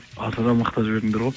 асыра мақтап жібердіңдер ғой